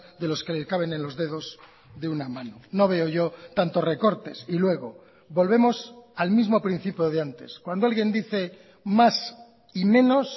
de los que le caben en los dedos de una mano no veo yo tanto recortes y luego volvemos al mismo principio de antes cuando alguien dice más y menos